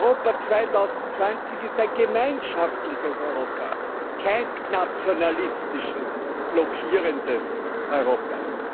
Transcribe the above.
Europa 2020 ist ein gemeinschaftliches Europa, kein nationalistisches, blockierendes Europa.